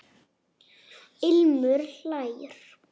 Ilmur hlær.